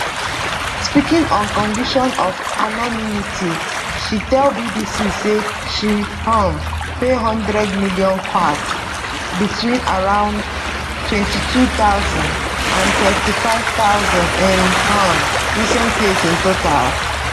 speaking on condition of anonymity she tell bbc say she um pay 100m kyats between around 22000 and 35000 in um recent years in total